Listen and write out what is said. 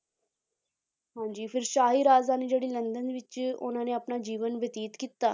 ਹਾਂਜੀ ਫਿਰ ਸ਼ਾਹੀ ਰਾਜਧਾਨੀ ਜਿਹੜੀ ਲੰਦਨ ਵਿੱਚ ਉਹਨਾਂ ਨੇ ਆਪਣਾ ਜੀਵਨ ਬਤੀਤ ਕੀਤਾ